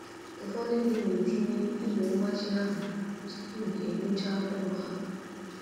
Ụfọdụ ndị na-etinye ígwè mgbachi ahụ tupu e wuchaa ụlọ ha.